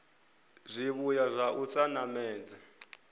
zwivhuya zwa u sa namedza